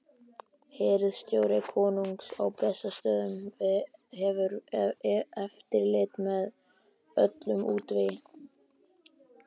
Hirðstjóri konungs á Bessastöðum hefur eftirlit með öllum útvegi.